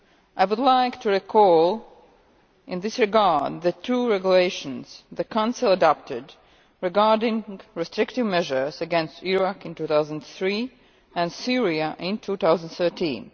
I would like to recall in this regard the two regulations the Council adopted regarding restrictive measures against Iraq in 2003 and Syria in 2013.